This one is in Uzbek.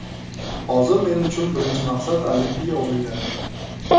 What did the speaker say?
Hozir men uchun birinchi maqsad Olimpiya o‘yinlari.